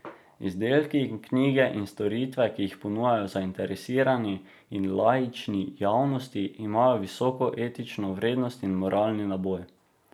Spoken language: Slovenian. Izdelki, knjige in storitve, ki jih ponujajo zainteresirani in laični javnosti, imajo visoko etično vrednost in moralni naboj.